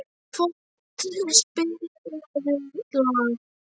Ísfold, spilaðu lag.